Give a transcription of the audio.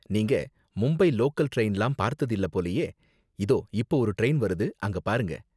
நீங்க மும்பை லோக்கல் டிரைன்லாம் பார்த்தது இல்ல போலயே, இதோ இப்ப ஒரு டிரைன் வருது, அங்க பாருங்க.